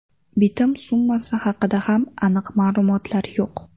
Bitim summasi haqida ham aniq ma’lumotlar yo‘q.